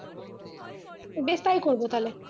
বেশ তাই করবো তাহলে